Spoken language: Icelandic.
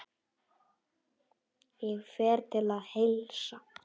Ég fer til að heilsa.